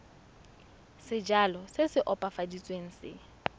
sejalo se se opafaditsweng se